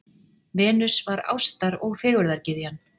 Venus var ástar- og fegurðargyðjan.